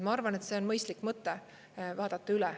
Ma arvan, et see on mõistlik mõte, vaadata üle.